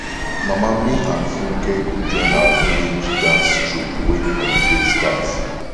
mama me and funke go join our village dance troupe wen holiday start